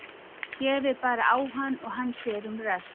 Gefið bara á hann og hann sér um rest.